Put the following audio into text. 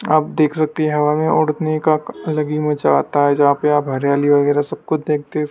आप देख सकते हैं हवा में उड़ने का अलग ही मजा आता है जहां पे आप हरियाली वगैरह सब कुछ देखते--